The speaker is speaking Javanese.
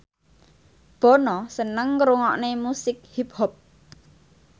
Bono seneng ngrungokne musik hip hop